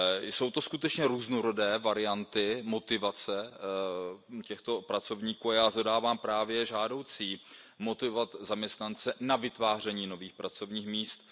Jsou to skutečně různorodé varianty motivace těchto pracovníků a já shledávám právě žádoucí motivovat zaměstnance k vytváření nových pracovních míst.